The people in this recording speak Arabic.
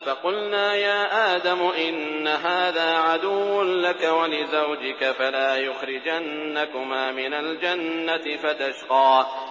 فَقُلْنَا يَا آدَمُ إِنَّ هَٰذَا عَدُوٌّ لَّكَ وَلِزَوْجِكَ فَلَا يُخْرِجَنَّكُمَا مِنَ الْجَنَّةِ فَتَشْقَىٰ